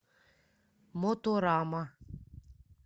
моторама